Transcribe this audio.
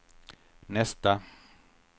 nästa